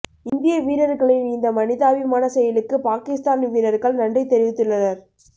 இந்திய வீரர்களின் இந்த மனிதாபிமான செயலுக்கு பாகிஸ்தான் வீர்ர்கள் நன்றி தெரிவித்துள்ளனர்